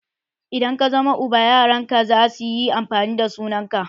Idan ka zama uba, yaran ka zasu yi amfani da sunan ka.